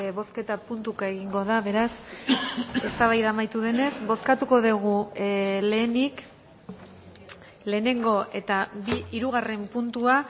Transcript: bozketa puntuka egingo da beraz eztabaida amaitu denez bozkatuko dugu lehenik lehenengo eta hirugarren puntua